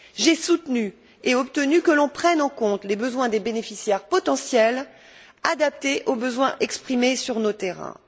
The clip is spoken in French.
J'ai soutenu et obtenu que l'on prenne en compte les besoins des bénéficiaires potentiels, adaptés aux besoins exprimés sur nos terrains.